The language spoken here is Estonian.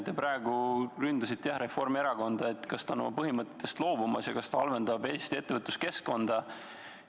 Te praegu ründasite Reformierakonda, et ta on oma põhimõtetest loobumas ja halvendab Eesti ettevõtluskeskkonda.